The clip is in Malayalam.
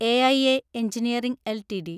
AIA engineering LTD